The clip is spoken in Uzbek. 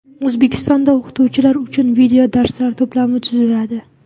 O‘zbekistonda o‘qituvchilar uchun videodarslar to‘plami tuziladi.